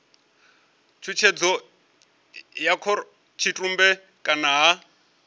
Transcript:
tshutshedzo ya khorotshitumbe kana ha